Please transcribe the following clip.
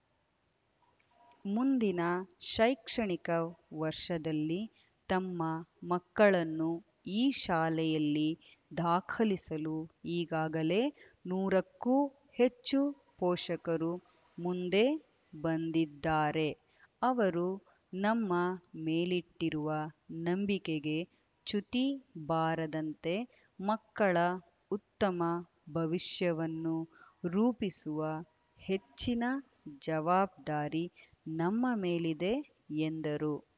ಮುಂದಿನ ಶೈಕ್ಷಣಿಕ ವರ್ಷದಲ್ಲಿ ತಮ್ಮ ಮಕ್ಕಳನ್ನು ಈ ಶಾಲೆಯಲ್ಲಿ ದಾಖಲಿಸಲು ಈಗಾಗಲೇ ನೂರಕ್ಕೂ ಹೆಚ್ಚು ಪೋಷಕರು ಮುಂದೆ ಬಂದಿದ್ದಾರೆ ಅವರು ನಮ್ಮ ಮೇಲಿಟ್ಟಿರುವ ನಂಬಿಕೆಗೆ ಚ್ಯುತಿ ಬಾರದಂತೆ ಮಕ್ಕಳ ಉತ್ತಮ ಭವಿಷ್ಯವನ್ನು ರೂಪಿಸುವ ಹೆಚ್ಚಿನ ಜವಾಬ್ದಾರಿ ನಮ್ಮ ಮೇಲಿದೆ ಎಂದರು